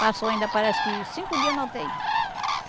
Passou ainda, parece que cinco dias na u tê i.